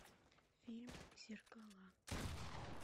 фильм зеркала